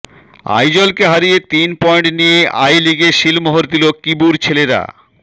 আইজলকে হারিয়ে তিন পয়েন্ট নিয়ে আইলিগে সিলমোহর দিল কিবুর ছেলেরা